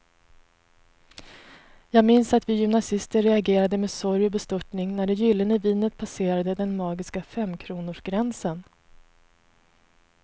Jag minns att vi gymnasister reagerade med sorg och bestörtning när det gyllene vinet passerade den magiska femkronorsgränsen.